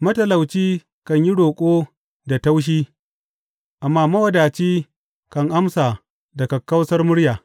Matalauci kan yi roƙo da taushi, amma mawadaci kan amsa da kakkausar murya.